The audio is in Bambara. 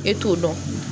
E t'o dɔn